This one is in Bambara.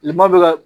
Tilema bɛ ka